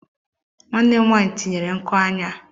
Nwanne m nwaanyị tinyere nku anya.